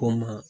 Ko n ma